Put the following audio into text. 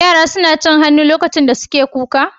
Yara suna cin hannu lokacin da suke kuka?